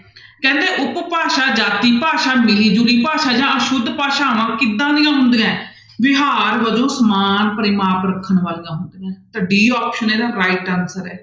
ਕਹਿੰਦੇ ਉਪ ਭਾਸ਼ਾ ਜਾਤੀ ਭਾਸ਼ਾ ਮਿਲੀ ਜੁਲੀ ਭਾਸ਼ਾ ਜਾਂਂ ਅਸੁਧ ਭਾਸ਼ਾਵਾਂ ਕਿੱਦਾਂ ਦੀਆਂ ਹੁੰਦੀਆਂ ਹੈ, ਵਿਹਾਰ ਵਜੋਂ ਸਮਾਨ ਪਰਿਮਾਪ ਰੱਖਣ ਵਾਲੀਆਂ ਹੁੰਦੀਆਂ ਹੈ ਤਾਂ d option ਇਹਦਾ right answer ਹੈ।